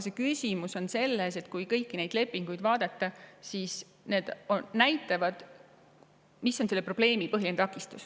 Küsimus on selles, et kui kõiki neid lepinguid vaadata, siis need näitavad, mis on selle probleemi põhiline takistus.